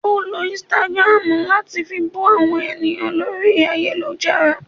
Ọ ló Instagram latí fí bú àwọn ènìyàn lórí ayélujára